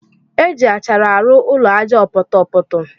Eji achara arụ ụlọ aja ọpọtọpọtọ.